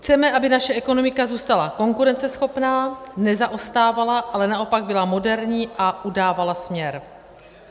Chceme, aby naše ekonomika zůstala konkurenceschopná, nezaostávala, ale naopak byla moderní a udávala směr.